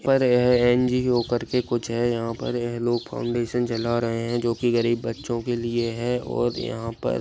पर यह एन.जी.ओ कर के कुछ है यहां पर है लोग फाउंडेशन चला रहे हैं जो कि गरीब बच्चों के लिए है और यहां पर--